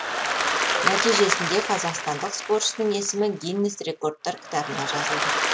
нәтижесінде қазақстандық спортшының есімі гиннес рекордтар кітабына жазылды